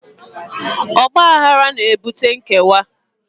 Ọgbaghara na-ebute nkewa